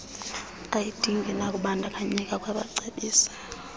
ayidingi nakubandakanyeka kwabacebisi